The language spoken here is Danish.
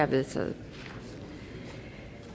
vedtaget